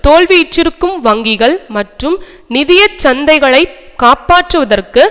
தோல்வியுற்றிருக்கும் வங்கிகள் மற்றும் நிதிய சந்தைகளைக் காப்பாற்றுவதற்கு